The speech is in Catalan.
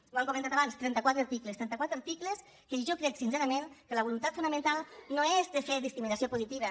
ho han comentat abans trenta quatre articles trentaquatre articles que jo crec sincerament que la voluntat fonamental no és de fer discriminació positiva